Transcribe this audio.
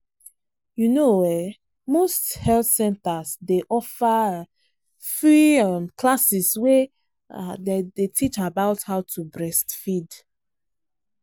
you know ehnmost health centers day offer free um classes way um day teach about how to breastfeed.